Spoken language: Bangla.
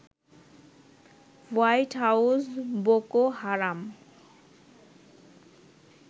হোয়াইট হাউস বোকো হারাম